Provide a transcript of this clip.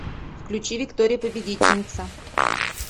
включи виктория победительница